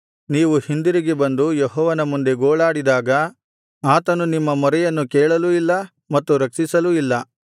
ನೀವು ಹಿಂದಿರುಗಿ ಬಂದು ಯೆಹೋವನ ಮುಂದೆ ಗೋಳಾಡಿದಾಗ ಆತನು ನಿಮ್ಮ ಮೊರೆಯನ್ನು ಕೇಳಲೂ ಇಲ್ಲ ಮತ್ತು ರಕ್ಷಿಸಲೂ ಇಲ್ಲ